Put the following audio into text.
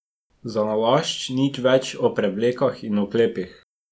Zanalašč nič več o prevlekah in oklepnikih.